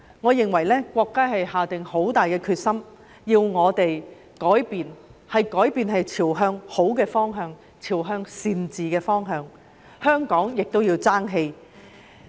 我認為國家下了很大決心，要我們改變，是朝向好的方向、朝向善治的方向改變，所以香港也要爭氣。